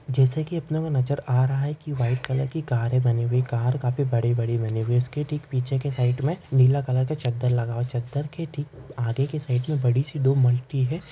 जैसे की अपने को नज़र आ रहा है की व्हाइट कलर की कारे बनी हुई है। कार काफी बड़े बड़े बनी हुई है इसके ठीक पीछे की साइड मे नीला कलर का चद्दर लगा है चद्दर के ठीक आगे की साइड मे बडीसी दो मल्टी है।